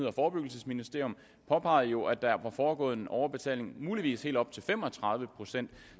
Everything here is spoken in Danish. og forebyggelsesministeriet påpegede jo at der var foregået en overbetaling på muligvis helt op til fem og tredive procent